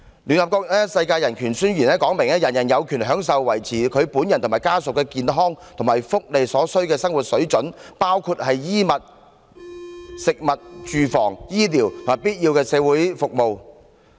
聯合國《世界人權宣言》指出，人人有權享受維持他本人和家屬的健康和福利所需的生活水準，包括衣物、食物、住房、醫療和必要的社會服務。